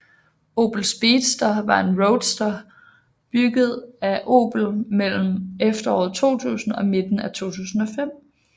Opel Speedster var en roadster bygget af Opel mellem efteråret 2000 og midten af 2005